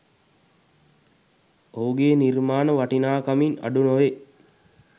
ඔහුගේ නිර්මාණ වටිනාකමින් අඩු නොවේ